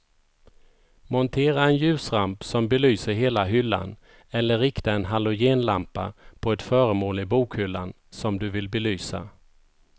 Montera en ljusramp som belyser hela hyllan eller rikta en halogenlampa på ett föremål i bokhyllan som du vill belysa.